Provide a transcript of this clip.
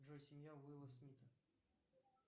джой семья уилла смита